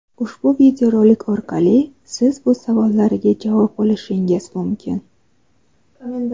Ushbu video rolik orqali siz bu savollarga javob olishingiz mumkin!.